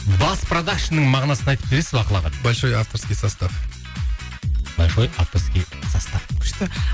бас продакшнның мағынасын айтып бересіз бе ақыл аға большой авторский состав большой авторский состав күшті